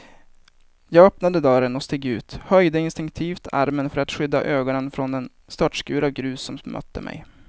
Jag öppnade dörren och steg ut, höjde instinktivt armen för att skydda ögonen från den störtskur av grus som mötte mig.